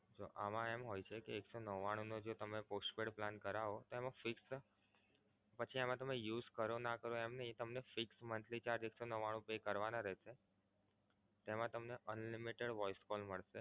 જો આમાં એમ હોય છે કે એક સો નવ્વાણું નો જો તમે postpaid plan કરાવો તો એમા fix પછી તમે આમાં use કરો ના કરો એમ નહીં fix monthly charges pay કરવાના રેહશે. તેમા તમને Unlimited voice calls મળશે.